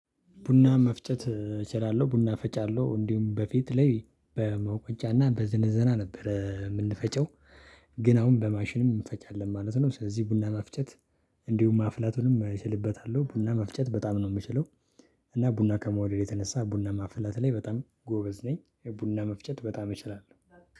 ቡና መፍጨት እችላለሁ። ቡና ፈጫለሁ። እንዲሁም በፊት ላይ በመውቀጫ እና በዘነዘና ነበር የምንፈጨው ግን አሁን በማሽንም እንፈጫለን ማለት ነው። ስለዚህ ቡና መፍጨት እንዲሁም ማፍላቱንም እችልበታለሁ። ቡና መፍጨት በጣም ነው የምችለው። እና ቡና ከመውደዴ የተነሳ ቡና ማፍላት ላይ በጣም ጎበዝ ነኝ። የቡና መፍጨት በጣም እችላለሁ።